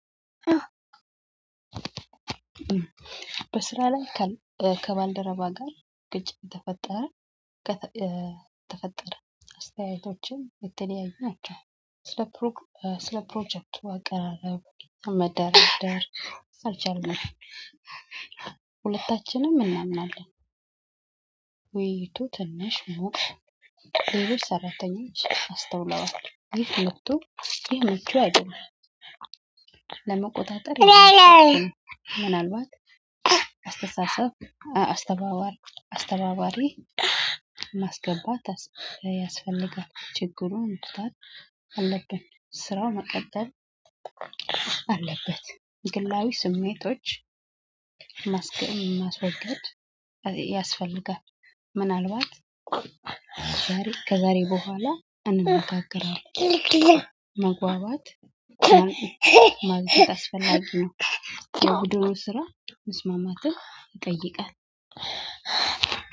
በስራ ላይ ከባልደረባ ጋር ግጭት ተፈጠረ። ከ ተፈጠረ አስተያየቶችን የተለዩየ ናቸው። ስለ ስለ ፕሮጀክቱ አቀራረብ መደርደር አልቻልንም። ሁለታችንም እናምናለን። ውይይቱ ትንሽ ሞቅ ሰራተኞች አስተውለዋል ይህ መጥቶ ይህ መጥቶ አይደለም። ለመቆጣጠር ምናልባት አስተሳሰብ አስተባባሪ አስተባባሪ ማስገባት ያስፈልጋል። ችግሩን መፍታት አለብን። ስራው መቀጠል አለበት። ግላዊ ስሜቶች ማስገን ማስወገድ ያስፈልጋል። ምናልባት ዛሬ ከዛሬ በኋላ እንነጋገራለን። መግባባት ማግኘት አስፈላጊ ነው። የውድድሩ ስራ መስማማትን ይጠይቃል።